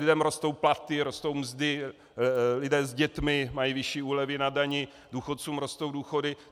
Lidem rostou platy, rostou mzdy, lidé s dětmi mají vyšší úlevy na dani, důchodcům rostou důchody.